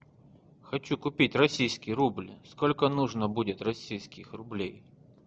хочу купить российский рубль сколько нужно будет российских рублей